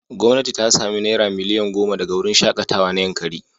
Gwamnati ta sami naira miliyan goma daga wurin shaƙatawa na Yankari.